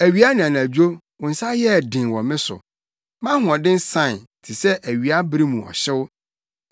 Awia ne anadwo wo nsa yɛɛ den wɔ me so; mʼahoɔden sae te sɛ awia bere mu ɔhyew.